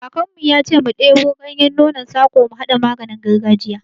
Kakan mu ya ce mu ɗebo ganyen nonon sako mu haɗa maganin gargajiya